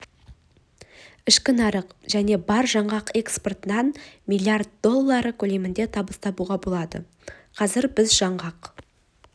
ішкі нарық және бар жаңғақ экспортынан миллиард доллары көлемінде табыс табуға болады қазір біз жаңғақ